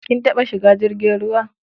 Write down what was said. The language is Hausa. Kin taɓa shiga jirgin ruwa?